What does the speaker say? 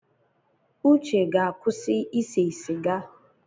Uche ga-akwụsị ịse sịga.